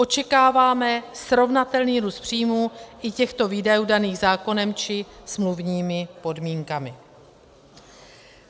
Očekáváme srovnatelný růst příjmů i těchto výdajů daných zákonem či smluvními podmínkami.